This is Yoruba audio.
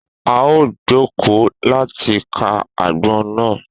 A o joko láti kà agbọn na